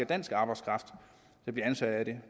dansk arbejdskraft der bliver ansat af det